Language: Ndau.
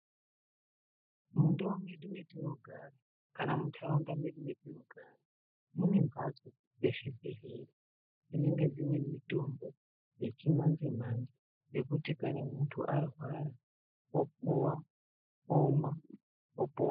Mundau medu metinogara kana muntaraunda medu metinogara mu e mbhatso dzezvibhedhlera dzinenge dzine mitombo yechimanjemnje yekuti kana muntu arwata opuwa opona.